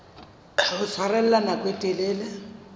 ho tshwarella nako e telele